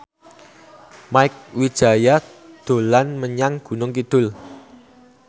Mieke Wijaya dolan menyang Gunung Kidul